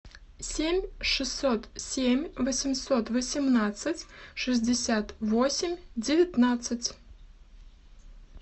семь шестьсот семь восемьсот восемнадцать шестьдесят восемь девятнадцать